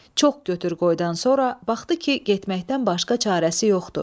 Çox götür-qoydan sonra baxdı ki, getməkdən başqa çarəsi yoxdur.